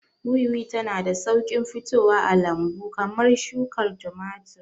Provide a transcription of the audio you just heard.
Wiwi tana da sauƙin fitowa a lambu kamar shukar tumatir.